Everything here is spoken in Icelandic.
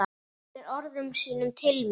Beinir orðum sínum til mín.